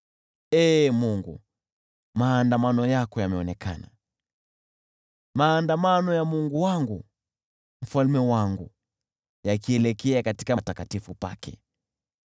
Ee Mungu, maandamano yako yameonekana, maandamano ya Mungu wangu, Mfalme wangu, yakielekea patakatifu pake.